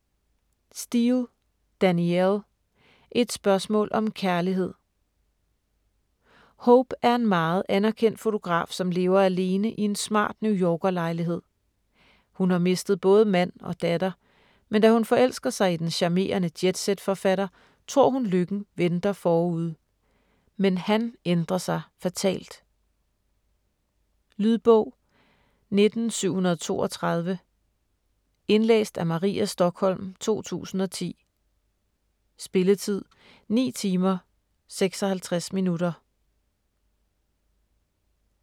Steel, Danielle: Et spørgsmål om kærlighed Hope er en meget anerkendt fotograf, som lever alene i en smart New-Yorker lejlighed. Hun har mistet både mand og datter, men da hun forelsker sig i den charmerende jetsetforfatter, tror hun lykken venter forude. Men han ændrer sig fatalt. Lydbog 19732 Indlæst af Maria Stokholm, 2010. Spilletid: 9 timer, 56 minutter.